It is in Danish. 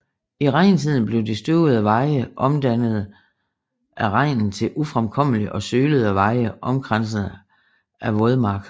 I regntiden blev de støvede veje omdannede af regnen til ufremkommelige og sølede veje omkransede af vådmark